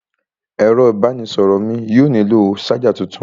Ẹ̀rọ ìbánisọ̀rọ̀ mí yóò nílò ṣájà tuntun.